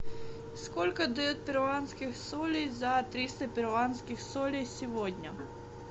сколько дают перуанских солей за триста перуанских солей сегодня